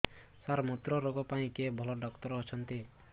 ସାର ମୁତ୍ରରୋଗ ପାଇଁ କିଏ ଭଲ ଡକ୍ଟର ଅଛନ୍ତି